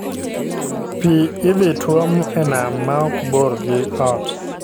Pii idhi tuom e nam ma ok bor gi ot